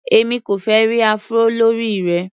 Èmi kò fẹ́ ẹ́ rí Afro lórí rẹ.